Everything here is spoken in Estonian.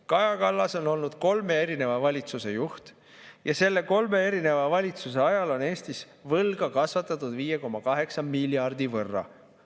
Kaja Kallas on olnud kolme erineva valitsuse juht ja selle kolme erineva valitsuse ajal on Eestis võlga kasvatatud 5,8 miljardi võrra.